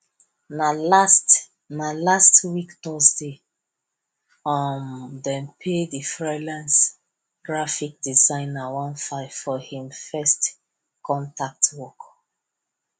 na last na last week thursday um dem pay the freelance graphic designer one five for hin first contact work